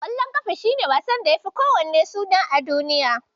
Ƙwallon ƙafa shi ne wasan da yafi kowanne suna a duniya.